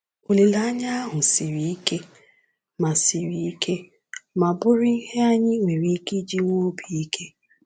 Olileanya ahụ siri ike ma siri ike ma bụrụ ihe anyị nwere ike iji nwee obi ike.